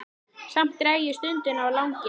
Samt dreg ég stundina á langinn.